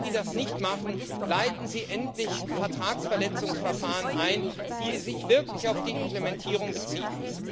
Und bei allen, die das nicht machen, leiten Sie endlich Vertragsverletzungsverfahren ein, die sich wirklich auf die Implementierung beziehen!